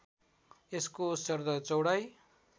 यसको सरदर चौडाइ